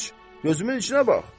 gözümün içinə bax!